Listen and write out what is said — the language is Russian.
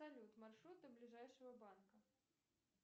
салют маршрут до ближайшего банка